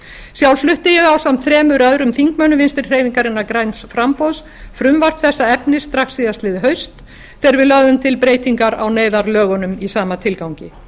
sjálf flutti ég ásamt þremur öðrum þingmönnum vinstri hreyfingarinnar græns framboðs frumvarp þessa efnis strax síðastliðið haust þegar við lögðum til breytingar á neyðarlögunum í sama tilgangi